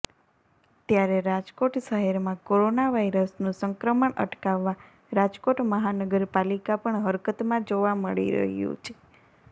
ત્યારે રાજકોટ શહેરમાં કોરોના વાયરસનું સંક્રમણ અટકાવવા રાજકોટ મહાનગરપાલીકા પણ હરકતમાં જોવા મળી રહ્યું છે